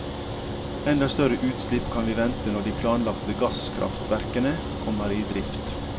Enda større utslipp kan vi vente når de planlagte gasskraftverkene kommer i drift.